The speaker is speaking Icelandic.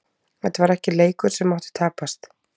Þetta var ekki leikur sem mátti tapast.